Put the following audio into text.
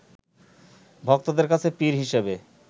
ভক্তদের কাছে পীর হিসেবে